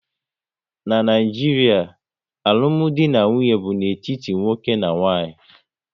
N'Naijiria, alụmdi na nwunye bụ n'etiti nwoke na nwaanyị